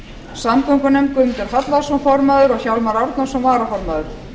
samgöngunefnd guðmundur hallvarðsson formaður og hjálmar árnason varaformaður